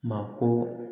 Mako